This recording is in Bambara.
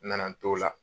N nana n t'o la